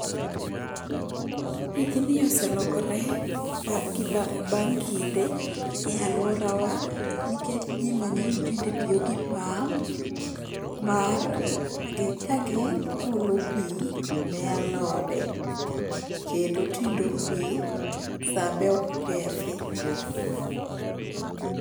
Tijni oselokore bang kinde e alworawa nikech ji mang'eny tinde tiyo gi pump mar kagi olo pi ne alode. Kendo tindo pi, sa be ok kethi.